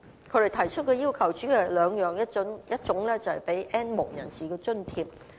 他們提出的要求主要有兩方面，一種是提供津貼給 "N 無人士"。